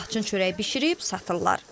Laçın çörəyi bişirib satırlar.